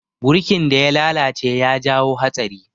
Burkin da ya lalace ya jawo hatsari.